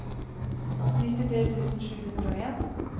nittitre tusen sju hundre og en